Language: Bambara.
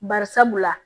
Bari sabula